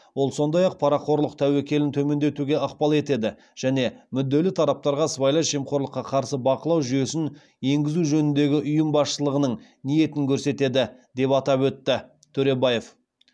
ол сондай ақ парақорлық тәуекелін төмендетуге ықпал етеді және мүдделі тараптарға сыбайлас жемқорлыққа қарсы бақылау жүйесін енгізу жөніндегі ұйым басшылығының ниетін көрсетеді деп атап өтті төребаев